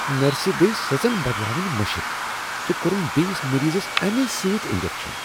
نرسہِ گیہ سژن بدلاوٕنۍ مشِتھ تہٕ كو٘رٗن بییِس مریضس امہِ سۭتۍانجكشن ۔